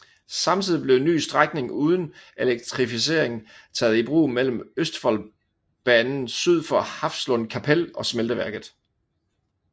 Samtidig blev en ny strækning uden elektrificering taget i brug mellem Østfoldbanen syd for Hafslund kapell og smelteværket